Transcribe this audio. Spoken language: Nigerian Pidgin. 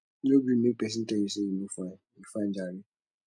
no gree make pesin tell you sey you no fine you fine jare